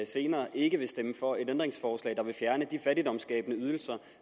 senere ikke vil stemme for et ændringsforslag der vil fjerne de fattigdomsskabende ydelser